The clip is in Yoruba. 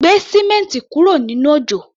Gbé símẹ́ǹti kúrò nínú òjò!